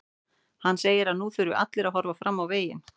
Hann segir að nú þurfi allir að horfa fram veginn.